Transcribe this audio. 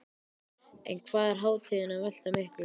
En hvað er hátíðin að velta miklu?